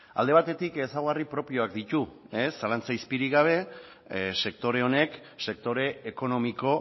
alde batetik ezaugarri propioak ditu zalantza izpirik gabe sektore honek sektore ekonomiko